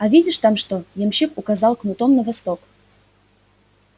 а видишь там что ямщик указал кнутом на восток